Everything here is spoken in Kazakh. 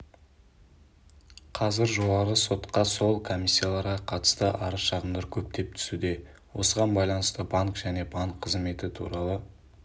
қазір жоғарғы сотқа сол комиссияларға қатысты арыз-шағымдар көптеп түсуде осыған байланысты банк және банк қызметі туралы